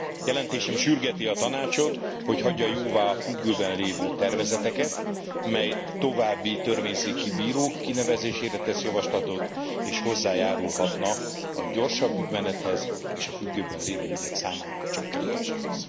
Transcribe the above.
Jelentésem sürgeti a Tanácsot, hogy hagyja jóvá a függőben lévő tervezeteket, melyek további törvényszéki bírók kinevezésére tesznek javaslatot és hozzájárulhatnának a gyorsabb ügymenethez és a függőben lévő ügyek számának csökkentéséhez.